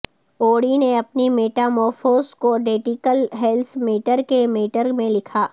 اوڈی نے اپنی میٹامورفوس کو ڈیٹیکل ہیلس میٹر کے میٹر میں لکھا